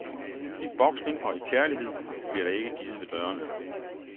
I boksning og i kærlighed blir der ikke givet ved dørene.